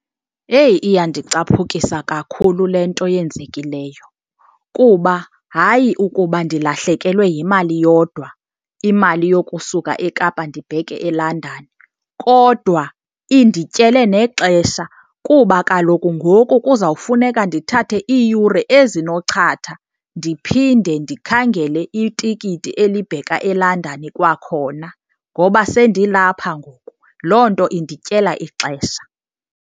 Heyi iyandicaphukisa kakhulu le nto yenzekileyo. Kuba hayi ukuba ndilahlekelwe yimali yodwa, imali yokusuka eKapa ndibheke eLondon, kodwa indityele nexesha kuba kaloku ngoku kuzawufuneka ndithathe iiyure ezinochatha ndiphinde ndikhangele itikiti elibheka eLondon kwakhona ngoba sendilapha ngoku. Loo nto indityela ixesha.